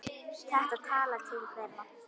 Þetta talar til þeirra.